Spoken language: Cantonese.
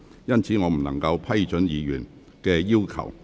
因此我不能批准議員的要求。